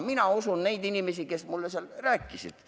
Ma usun neid inimesi, kes mulle seda rääkisid.